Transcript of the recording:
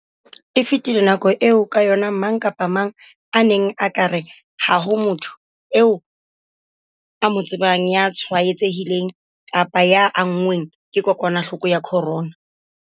E fetile nako eo ka yona mang kapa mang a neng a ka re ha ho motho eo a mo tsebang ya tshwaetsehileng kapa ya anngweng ke kokwanahloko ya corona.